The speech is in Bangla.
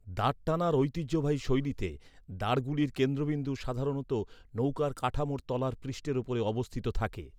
দাঁড় টানার ঐতিহ্যবাহী শৈলীতে, দাঁড়গুলির কেন্দ্রবিন্দু, সাধারণত নৌকার কাঠামোর তলার পৃষ্ঠের উপরে অবস্থিত থাকে।